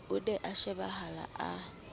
o ne a shebahala a